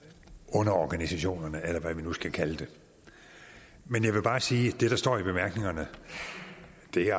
underorganisationerne eller hvad vi nu skal kalde det men jeg vil bare sige at det der står i bemærkningerne